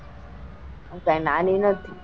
હું કાઈ નાની નથી.